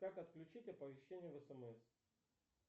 как отключить оповещение в смс